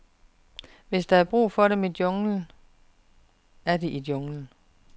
Hvis der er brug for dem i junglen, er de i junglen.